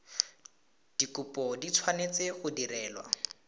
dikopo di tshwanetse go direlwa